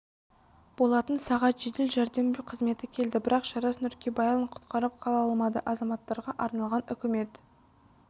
болатын сағат жедел жәрдем қызметі келді бірақ жарас нуркибайұлын құтқарып қала алмады азаматтарға арналған үкімет